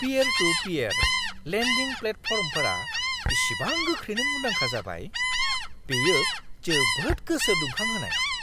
Peer to peer lending प्लेटफर्मफोरा इसेबां गोख्रैनो मुंदांखा जाबाय, बेयो जोबोद गोसो दुंखांहोनाय!